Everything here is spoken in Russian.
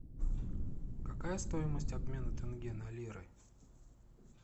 какая стоимость обмена тенге на лиры